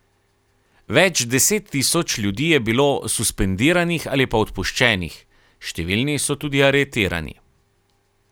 Več deset tisoč ljudi je bilo suspendiranih ali pa odpuščenih, številni so tudi aretirani.